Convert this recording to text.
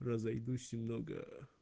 разойдусь немного